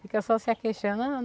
Fica só se aqueixando.